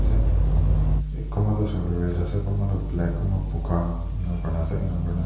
e e kunba tu soile red ase kunba tu black kunba boga enka kuri na ase ena koina--